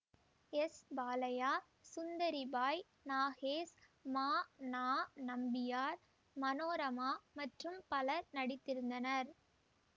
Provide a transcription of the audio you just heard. S Balaiah Sundaribai Nagesh மா நா நம்பியார் மனோரமா மற்றும் பலர் நடித்திருந்தனர்